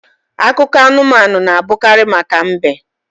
Akụkọ anumanu na abụkarị maka mbe